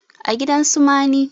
a gidan su mani